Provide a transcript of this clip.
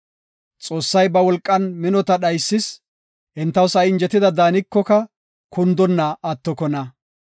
Xoossay ba wolqan minota dhaysis; entaw sa7i injetida daanikoka, kundonna attokona.